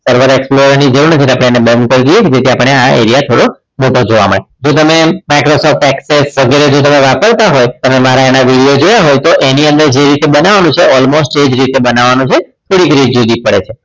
તો server explorer ની જરૂર નથી એટલે આપણે એને બંધ કરી નાખે જેથી આપણને આ area થોડો મોટો જોવા મળે જો તમે microsoft access વગેરે તમે જો વાપરતા હો તમે જો મારા video જોયા હોત તો એની અંદર જે રીતે બનાવવાનું છે almost એ રીતે જ બનાવવાનું છે થોડી જ રીત જુદી પડે છે